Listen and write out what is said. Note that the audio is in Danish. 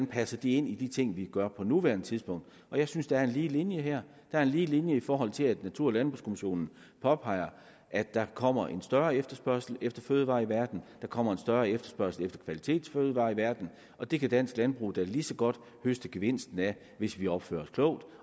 passer ind i de ting vi gør på nuværende tidspunkt jeg synes der er en lige linje her der er en lige linje i forhold til at natur og landbrugskommissionen påpeger at der kommer en større efterspørgsel efter fødevarer i verden der kommer en større efterspørgsel efter kvalitetsfødevarer i verden og det kan dansk landbrug da lige så godt høste gevinsten af hvis vi opfører os klogt